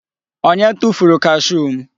Onye tufuru kashuu m?